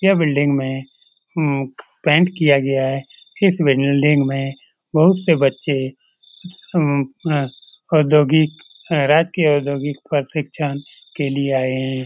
यह बिल्डिंग में अम पेंट किया गया है इस बिल्डिंग में बहुत से बच्चे अम औद्योगिक अम राजकीय औद्योगिक प्रशिक्षण के लिए आये है।